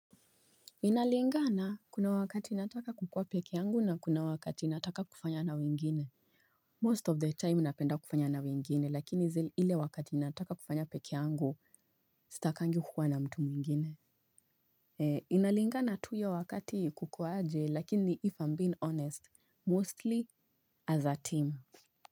Inalingana. Kuna wakati nataka kukua peke yangu na kuna wakati nataka kufanya na wengine. Most of the time napenda kufanya na wengine. Lakini ile wakati inataka kufanya peke yangu, stakangi kukua na mtu mwingine. Inalingana tu iyo wakati, kuko aje? Lakini if I'm being honest, mostly, as a team.